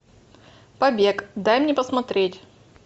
побег дай мне посмотреть